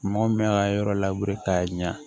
Mɔgɔ min bɛ ka yɔrɔ labure k'a ɲɛ